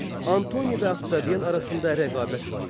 Antoni və Oktavian arasında rəqabət var idi.